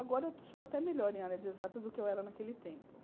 Agora eu sou até melhor em área de exatas do que eu era naquele tempo.